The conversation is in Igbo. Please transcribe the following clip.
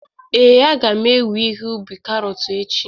ee, a ga m ewe ihe ubi karọt echi